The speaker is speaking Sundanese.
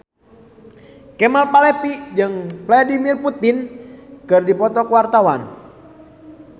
Kemal Palevi jeung Vladimir Putin keur dipoto ku wartawan